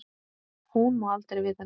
Hún má aldrei vita neitt.